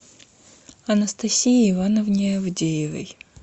анастасии ивановне авдеевой